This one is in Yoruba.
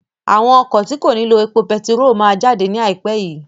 Àwọn ọkọ̀ tí kò ní lo epo betiró máa jáde ní ai pẹ yii